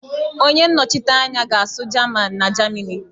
Onye nnọchite anya ga-asụ jaman na Jamini